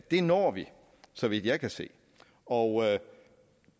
når vi så vidt jeg kan se og